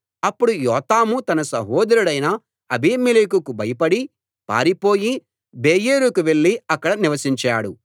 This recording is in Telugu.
అప్పుడు యోతాము తన సహోదరుడైన అబీమెలెకుకు భయపడి పారిపోయి బెయేరుకు వెళ్లి అక్కడ నివసించాడు